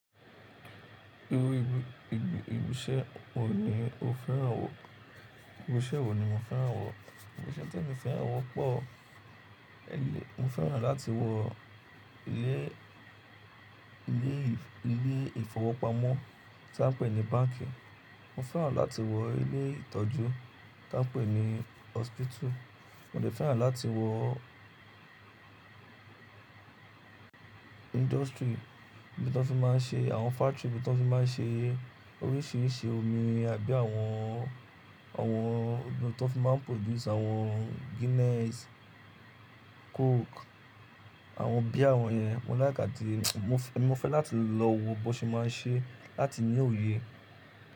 Irú ìbí, ìbí, ìbiṣẹ́ wo ni o fẹ́ràn wo ìbiṣẹ́ wo ni mo fẹ́ràn wo? Ìbisẹ́ tí emi fẹ́ràn wọ́pọ̀, ẹ́ yẹ, mo fẹ́ràn láti wo ilé, ilé ìf, ilé ìfowópamọ́ tí a ń pè ní báǹkì, mo fẹ́ràn láti wo ilé ìtọ́jú tí a ń pè ní hospital, mo sì fẹ́ràn láti wo industry ibi ti wọ́n ti máa ń ṣe, àwọn factory ibi ti wọ́n ti máa ń ṣe oríṣìíríṣìí omi àbí àwọn, àwọn ibi ti wọ́n ti máa ń produce àwọn Guinness, Coke, àwọn bíi àwọn yẹn. Mo laike àti mo fẹ́, mo fẹ́ láti lọ wo bí wọ́n ṣe máa ń ṣe láti ní òye.